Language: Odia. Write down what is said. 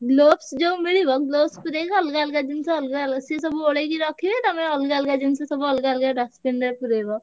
Gloves ଯୋଉ ମିଳିବ gloves ପୁରେଇକି ଅଲଗା ଅଲଗା ଜିନିଷ ଅଲଗା ସିଏ ସବୁ ଓଳେଇକି ରଖିବେ। ତମେ ଅଲଗା ଅଲଗା ଜିନିଷ, ସବୁ ଅଲଗା ଅଲଗା dustbin ରେ ପୁରେଇବ।